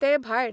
ते भायर